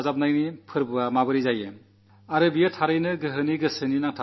ജനങ്ങളെ പരസ്പരം ഇണക്കുന്ന ആഘോഷമാകുന്നതെങ്ങനെ